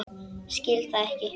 Skil það ekki.